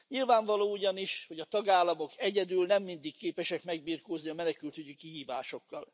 Nyilvánvaló ugyanis, hogy a tagállamok egyedül nem mindig képesek megbirkózni a menekültügyi kihívásokkal.